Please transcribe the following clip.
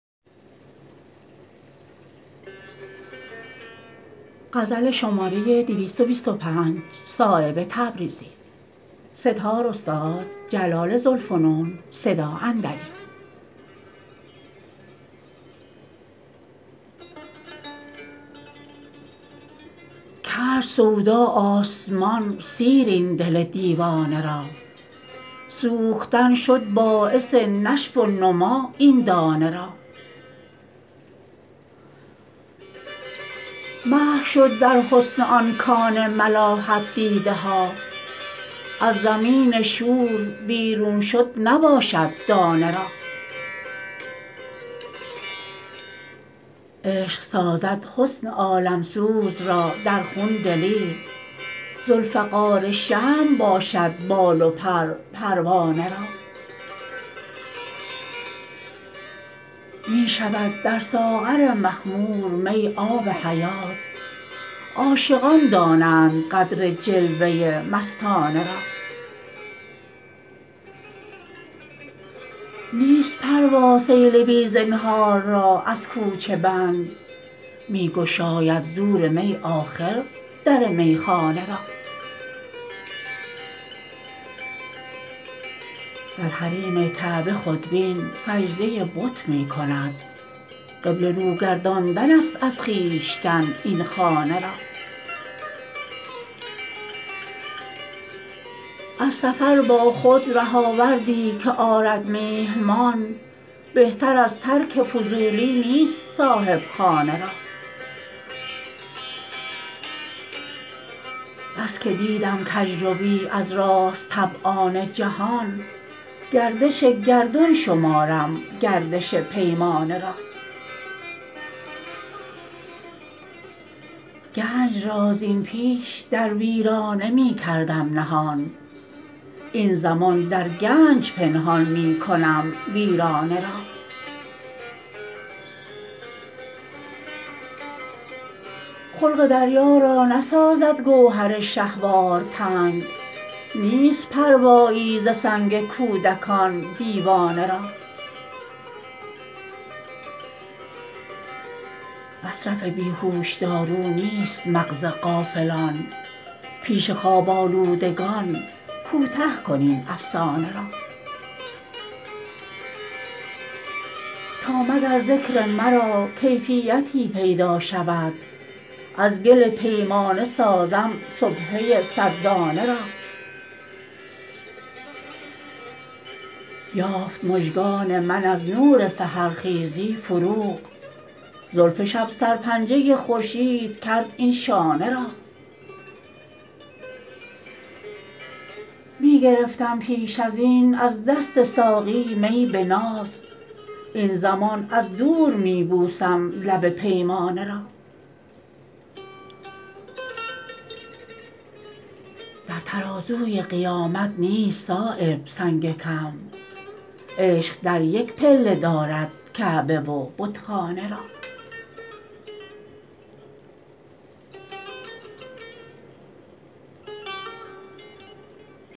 کرد سودا آسمان سیر این دل دیوانه را سوختن شد باعث نشو و نما این دانه را محو شد در حسن آن کان ملاحت دیده ها از زمین شور بیرون شد نباشد دانه را عشق سازد حسن عالمسوز را در خون دلیر ذوالفقار شمع باشد بال و پر پروانه را می شود در ساغر مخمور می آب حیات عاشقان دانند قدر جلوه مستانه را نیست پروا سیل بی زنهار را از کوچه بند می گشاید زور می آخر در میخانه را در حریم کعبه خودبین سجده بت می کند قبله رو گرداندن است از خویشتن این خانه را از سفر با خود رهاوردی که آرد میهمان بهتر از ترک فضولی نیست صاحبخانه را بس که دیدم کجروی از راست طبعان جهان گردش گردون شمارم گردش پیمانه را گنج را زین پیش در ویرانه می کردم نهان این زمان در گنج پنهان می کنم ویرانه را خلق دریا را نسازد گوهر شهوار تنگ نیست پروایی ز سنگ کودکان دیوانه را مصرف بیهوشدارو نیست مغز غافلان پیش خواب آلودگان کوته کن این افسانه را تا مگر ذکر مرا کیفیتی پیدا شود از گل پیمانه سازم سبحه صد دانه را یافت مژگان من از نور سحرخیزی فروغ زلف شب سرپنجه خورشید کرد این شانه را می گرفتم پیش ازین از دست ساقی می به ناز این زمان از دور می بوسم لب پیمانه را در ترازوی قیامت نیست صایب سنگ کم عشق در یک پله دارد کعبه و بتخانه را